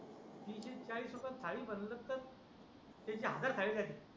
तीस चाळीस रुपये थाळी म्हटलं तर हजार थाळी झाली